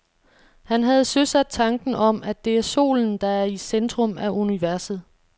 Han havde søsat tanken om, at det er solen, der er i centrum af universet.